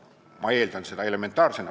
Ma eeldan, et see on elementaarne.